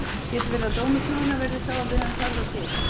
Getur verið að dómur sögunnar verði sá að við höfum farið of geyst?